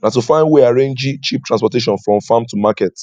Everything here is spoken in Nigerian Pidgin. na to find way arrangee cheap transportation from farm to market